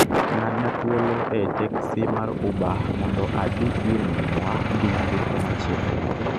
ng'adna thuolo ei teksi ma uber mondo adhi ir minwa gi nyamburko machielo